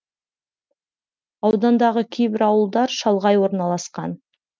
аудандағы кейбір ауылдар шалғай орналасқан